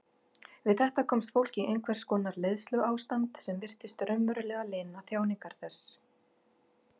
Við þetta komst fólk í einhvers konar leiðsluástand sem virtist raunverulega lina þjáningar þess.